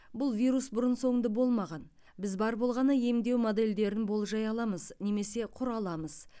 бұл вирус бұрын соңды болмаған біз бар болғаны емдеу модельдерін болжай аламыз немесе құра аламыз